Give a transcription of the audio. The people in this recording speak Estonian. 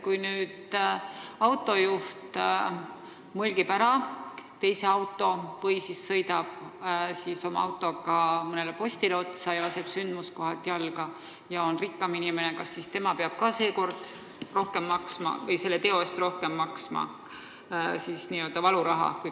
Kui autojuht mõlgib ära teise auto või sõidab oma autoga mõnele postile otsa ning siis laseb sündmuskohalt jalga ja kui ta on rikkam inimene, kas siis ta peab ka selle teo eest rohkem maksma?